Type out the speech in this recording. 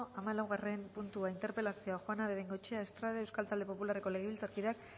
hamalaugarren puntua interpelazioa juana de bengoechea estrade euskal talde popularreko legebiltzarkideak